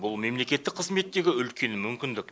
бұл мемлекеттік қызметтегі үлкен мүмкіндік